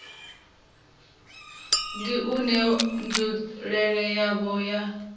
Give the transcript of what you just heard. ndi une nzulele yawo ya